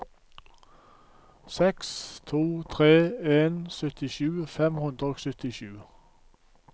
seks to tre en syttisju fem hundre og syttisju